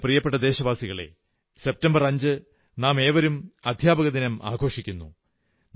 എന്റെ പ്രിയപ്പെട്ട ദേശവാസികളേ സെപ്റ്റംബർ 5 നാമേവരും അധ്യാപകദിനം ആഘോഷിക്കുന്നു